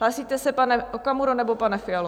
Hlásíte se, pane Okamuro nebo pane Fialo?